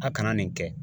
A kana nin kɛ